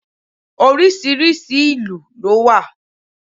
Oríṣiríṣi ìlú ló wà.